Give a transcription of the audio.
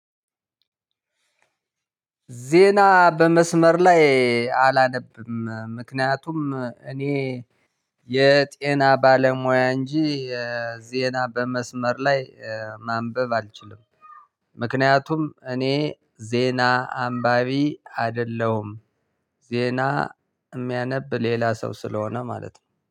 ዜና በመስመር ላይ አላነብም ምክንያቱም እኔ የጤና ባለሙያ እንጂ የዜና በመስመር ላይ ማንበብ አልችልም። ምክንያቱም እኔ ዜና አንባቢ አይደለሁም። ዜና የሚያነብ ሌላ ሰው ስለሆነ ማለት ነው